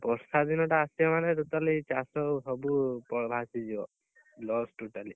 ବର୍ଷା ଦିନ ଟା ଆସିବ ମାନେ ସବୁ totally ଚାଷ ସବୁ ଭାସି ଯିବ loss totally